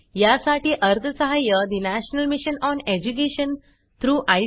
यासाठी अर्थसहाय्य national mission on education through I